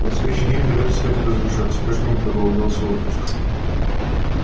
на следующий день ребята стали разъезжаться каждому полагался отпуск